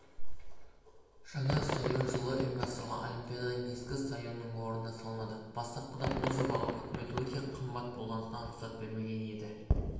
жаңа стадион жылы ұйымдастырылған олимпиаданың ескі стадионының орнына салынады бастапқыда бұл жобаға үкімет өте қымбат болғандықтан рұқсат бермеген еді